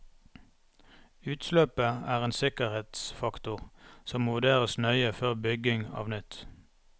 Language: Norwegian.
Utløpet er en usikkerhetsfaktor som må vurderes nøye før bygging av nytt.